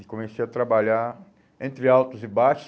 E comecei a trabalhar entre altos e baixos.